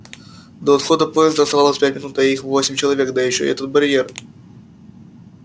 до отхода поезда оставалось пять минут а их восемь человек да ещё этот барьер